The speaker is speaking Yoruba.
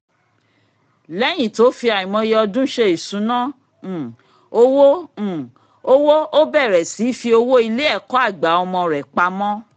lẹ́yin tó fi àìmọye ọdún ṣe ìṣúná um owó um owó ó bẹ̀rẹ̀ sí í fi owó ilé-ẹ̀kọ́-àgbà ọmọ rẹ pamọ́